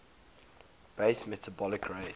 basal metabolic rate